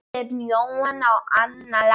Björn Jóhann og Anna Lára.